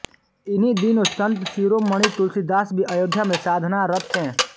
इन्हीं दिनों संत शिरोमणि तुलसीदास भी अयोध्या में साधना रत थे